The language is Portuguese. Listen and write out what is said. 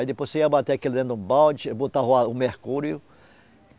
Aí depois você ia bater aquilo dentro de um balde, botava o a o mercúrio.